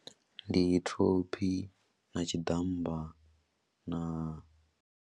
Ndi thophi na tshiḓammba na.